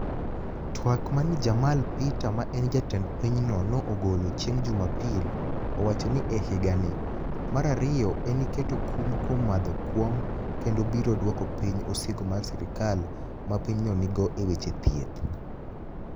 Twak mani e Jamal peter ma eni jatend piny no ogolo chienig jumapil, owacho nii ehiganii. Mar ariyo eni keto kum kuom madho kuonig kenido biro duoko piniy osigo ma sirkal ma piny no niigo e weche thieth.